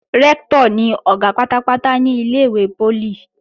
Rẹ́ktọ̀ ni Ọ̀gá pátápátá ní ilé-ìwé poli